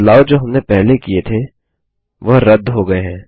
बदलाव जो हमने पहले किये थे वह रद्द हो गये हैं